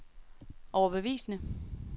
overbevisende